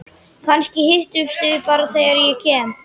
Kannski hittumst við bara næst þegar ég kem.